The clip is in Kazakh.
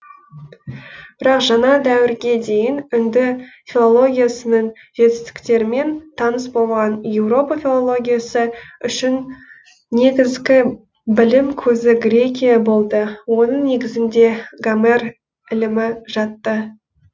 бірақ жаңа дәуірге дейін үнді филологиясының жетістіктерімен таныс болмаған еуропа филологиясы үшін негізгі білім көзі грекия болды оның негізінде гомер ілімі жатты